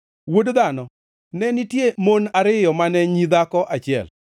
“Wuod dhano, ne nitie mon ariyo mane nyi dhako achiel.